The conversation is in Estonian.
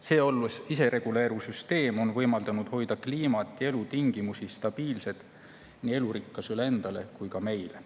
See, olles isereguleeruv süsteem, on võimaldanud hoida kliimat ja elutingimusi stabiilsena nii elurikkusele endale kui ka meile.